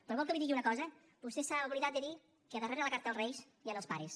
però vol que li digui una cosa vostè s’ha oblidat de dir que darrere de la carta als reis hi han els pares